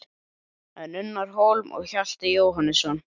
En Unnar Hólm og Hjalti Jóhannesson?